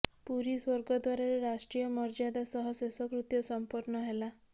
ପୁରୀ ସ୍ୱର୍ଗଦ୍ୱାରରେ ରାଷ୍ଟ୍ରୀୟ ମର୍ୟ୍ୟାଦା ସହ ଶେଷକୃତ୍ୟ ସମ୍ପନ୍ନ ହେଲା